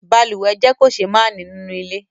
Balùwẹ́ jẹ́ kòsémání nínú ilé